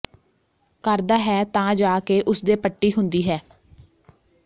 ਕਰਦਾ ਹੈ ਤਾਂ ਜਾ ਕੇ ਉਸਦੇ ਪੱਟੀ ਹੁੰਦੀ ਹੈ